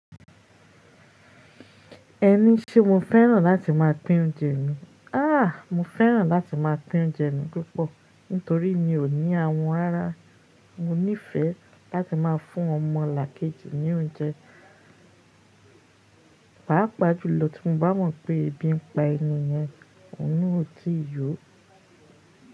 Ẹni ṣé mó fẹ́ràn láti máa pín oúnjẹ mi? Áà, mó fẹ́ràn láti máa pín oúnjẹ mi púpọ̀ nítorí mi ò ní àwun rará mo nífẹ̀ẹ́ láti máa fún ọmọlàkejì ní oúnjẹ. Páà pàjùlọ tí mó bá mọ̀ pé ebi n pa ẹni yẹn, ọ̀un nà ò tíì yọ.